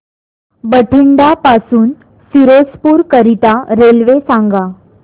बठिंडा पासून फिरोजपुर करीता रेल्वे सांगा